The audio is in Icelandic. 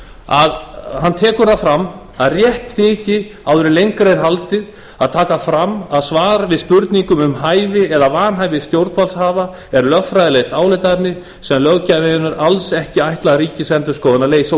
að hann tekur það fram að rétt þyki áður en lengra er haldið að taka fram að svar við spurningum um hæfi eða vanhæfi stjórnvaldshafa er lögfræðilegt álitaefni sem löggjafinn hefur alls ekki ætlað ríkisendurskoðun að leysa